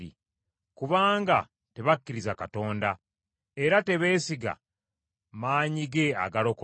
Kubanga tebakkiriza Katonda, era tebeesiga maanyi ge agalokola.